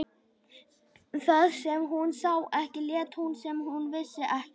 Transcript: Það sem hún sá ekki lét hún sem hún vissi ekki.